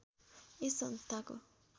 यस संस्थाको